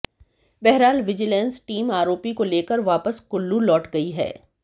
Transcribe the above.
बहरहाल vigilance team आरोपी को लेकर वापस कुल्लू लौट गई है